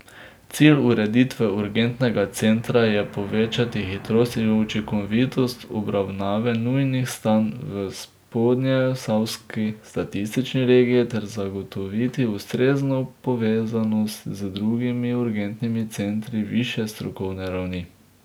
Cilj ureditve urgentnega centra je povečati hitrost in učinkovitost obravnave nujnih stanj v spodnjeposavski statistični regiji ter zagotoviti ustrezno povezanost z drugimi urgentnimi centri višje strokovne ravni.